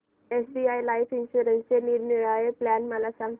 SBI life इन्शुरन्सचे निरनिराळे plan सांग